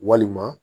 Walima